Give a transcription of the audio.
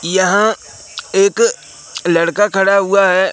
यहां एक लड़का खड़ा हुआ है।